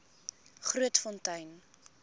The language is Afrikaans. grootfontein